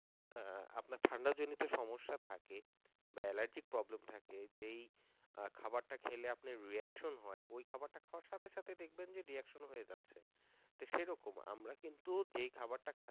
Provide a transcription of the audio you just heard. আহ আপনার ঠান্ডা জনিত সমস্যা থাকে বা allergic problem থাকে, যেই খাবারটা খেলে আপনার reaction হয় ওই খাবারটা খাওয়ার সাথে সাথে দেখবেন যে reaction হয়ে যাচ্ছে তো সেরকম আমরা কিন্তু যেই খাবার টা